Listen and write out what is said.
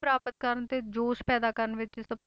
ਪ੍ਰਾਪਤ ਕਰਨ ਤੇ ਜੋਸ਼ ਪੈਦਾ ਕਰਨ ਵਿੱਚ ਸਭ